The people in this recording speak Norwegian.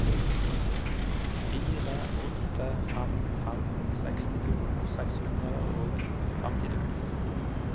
fire åtte fem fem sekstito seks hundre og femtito